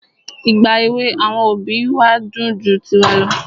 Ìgbà èwè àwọn òbí wa dùn ju tiwa lọ.